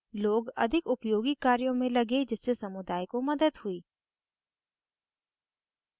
लोग अधिक उपयोगी कार्यों में लगे जिससे समुदाय को मदद हुई